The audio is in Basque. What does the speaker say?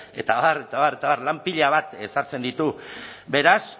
eta abar eta abar eta abar lan pila bat ezartzen ditu beraz